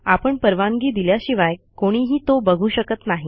आपण परवानगी दिल्याशिवाय कोणीही तो बघू शकत नाही